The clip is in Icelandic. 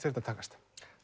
þetta takast